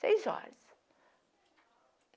Seis horas.